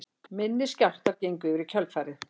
Minni skjálftar gengu yfir í kjölfarið